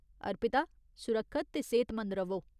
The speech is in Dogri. अर्पिता, सुरक्खत ते सेहतमंद र'वो।